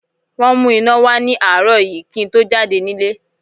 Wọ́n mú iná wá ní àárọ̀ yìí kí n tó jáde nílé